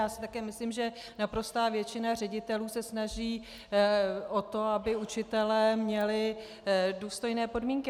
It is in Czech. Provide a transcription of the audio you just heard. Já si také myslím, že naprostá většina ředitelů se snaží o to, aby učitelé měli důstojné podmínky.